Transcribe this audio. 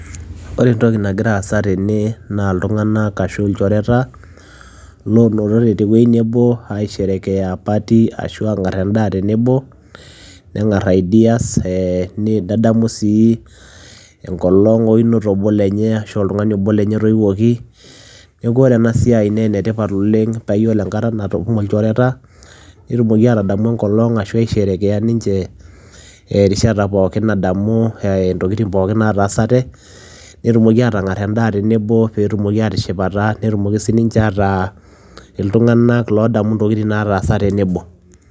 Ore entoki nagira aasa tene naa iltung'anak ashu ilchoreta loonotote te wuei nebo aisherekea party ashu aang'ar endaa tenebo, neng'ar ideas ee ni nedamu sii enkolong' woinoto obo lenye ashu oltung'ani obo lenye otoiwuoki. Neeku ore ena siai nee ene tipat oleng' paa iyiolo enkata natumo ilchoreta netumoki aatadamu enkolong' ashu aisherekea ninche erishata pookin nadamu ee intokitin pookin nataasate, netumoki aatang'ar endaa tenebo peetumoki aatishipata, netumoki sininche ataa iltung'anak loodamu intokitin nataasa tenebo.